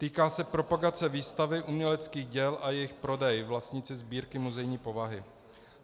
Týká se propagace výstavy uměleckých děl a jejich prodej, vlastníci sbírky muzejní povahy.